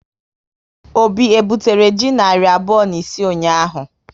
Obi e butere ji narị abụọ na isii ụnyaahụ?